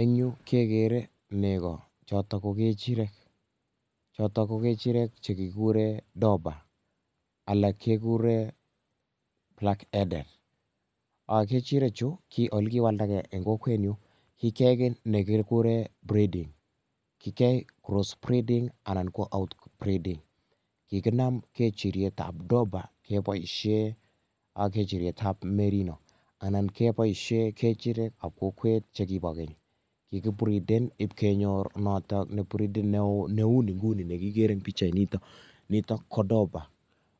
En yu kegeere negoo, chotok kokechirek. Chotok ko kechirek chekikuuren dopers, alak kekuuren black eden. Kechirekchu olekikowaldagee en kokwenyun kegureen breeding. Kigeyai crossbreeding kikinam kechirietab dopa keboishien ak kechirietab merino anan keboishien kechirekab kokweyt chekibo keny. Kikibriden ipkenyor ibridid neo missing nekikeere nitok kodopa,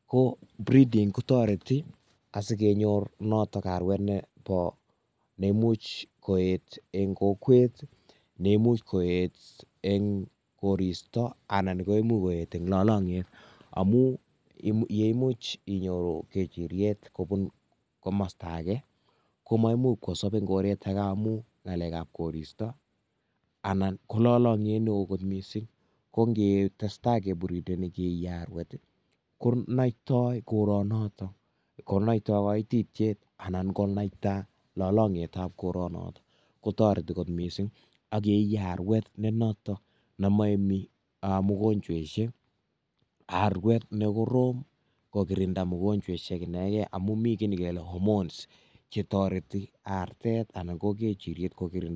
Ko breeding kotoretii asikenyor arwet notok Nebo neimuch koyeet en kokwet neimuch koet en koristoo, anan koneimuch koet en lolongyet, yeimuch inyoru kechiriet kobun komostooage, komaimuch kosob en koretage amun ngalekab koristoo anan ko lolongiet neo kot missing. Kongetesta kibrideni arwet konoitoi koronotook, noitoi koititiet anan konatai lolongietab ab koronotok, kotoretii kot missing ak koi arwet nenotok nemoyemii amun mugonyoisiek, arwet nekoroom kokirinda mogonyoisiek inegeen amun mii kit nekele hormones chetoretii artet anan ko kechiriet kokirinda mionwogiik.